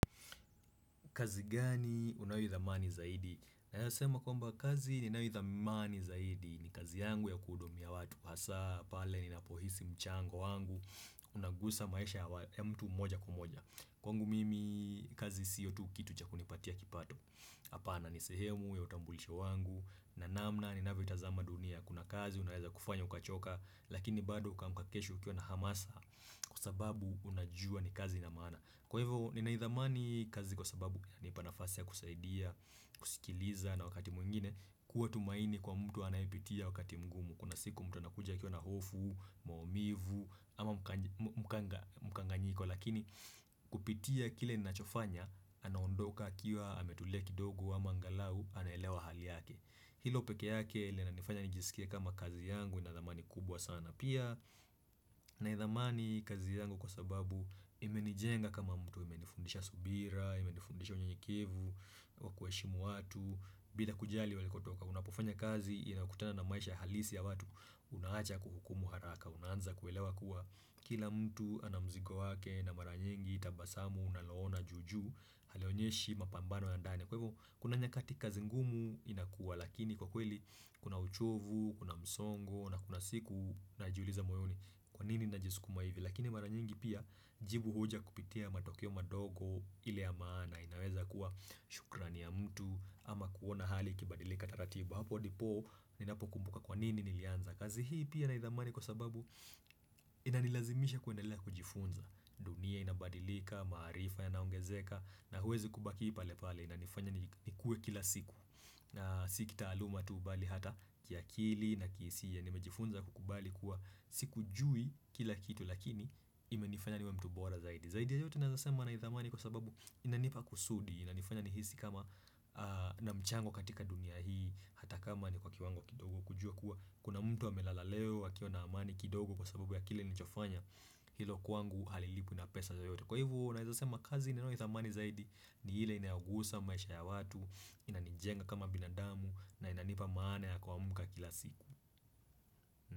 Kazi gani unayoidhamani zaidi? Naeza sema kwamba kazi ninayoidhamani zaidi ni kazi yangu ya kuhudumia watu hasaa pale ninapohisi mchango wangu. Unagusa maisha ya mtu mmoja kumoja. Kwangu mimi kazi siyo tu kitu cha kunipatia kipato. Hapana ni sehemu ya utambulisho wangu. Na namna ni navyotazama dunia. Kuna kazi unaweza kufanya ukachoka. Lakini bado uka amka kesho ukiwa na hamasa. Kwa sababu unajua ni kazi ina maana. Kwa hivyo ninaidhamani kazi kwa sababu. Nipa nafasi ya kusaidia, kusikiliza na wakati mwingine kuwa tumaini kwa mtu anayepitia wakati mgumu kuna siku mtu anakuja akiwa na hofu, maumivu ama mkanganyiko lakini kupitia kile ninachofanya anaondoka akiwa ametulia kidogo ama angalau anaelewa hali yake hilo peke yake linanifanya nijiskie kama kazi yangu inadhamani kubwa sana Pia Naidhamani kazi yangu kwa sababu imenijenga kama mtu imenifundisha subira, imenifundisha unyenyekevu, wakuheshimu watu bila kujali walikotoka, unapofanya kazi, inakutana na maisha halisi ya watu unaacha kuhukumu haraka, unaanza kuelewa kuwa kila mtu ana mzigo wake na mara nyingi, tabasamu, unalo ona juu juu halionyeshi mapambano ya ndani kwa hivo. Kuna nyakati kazi ngumu inakuwa, lakini kwa kweli kuna uchovu, kuna msongo, na kuna siku, unajiuliza moyoni kwa nini najisukuma hivi, lakini mara nyingi pia jibu huja kupitia matokeo madogo ile ya maana inaweza kuwa shukrani ya mtu ama kuona hali ikibadilika taratibu, hapo ndipo ninapo kumbuka kwa nini nilianza kazi hii pia naidhamani kwa sababu inanilazimisha kuendelea kujifunza dunia inabadilika, maarifa yanaongezeka na huwezi kubaki pale pale inanifanya nikue kila siku Sikitaaluma tu mbali ata kiakili na kihisia nimejifunza kukubali kuwa sikujui kila kitu lakini imenifanya niwe mtu bora zaidi Zaidi ya yote naeza sema naidhamani kwa sababu inanipa kusudi inanifanya nihisi kama na mchango katika dunia hii ata kama ni kwa kiwango kidogo kujua kuwa Kuna mtu amelala leo akiwa na amani kidogo kwa sababu ya kile nilichofanya Hilo kwangu halilipwi na pesa yoyote Kwa hivo naweza sema kazi ninayoidhamani zaidi ni ile inayogusa maisha ya watu Inanijenga kama binadamu na inanipa maana ya kuamka kila siku.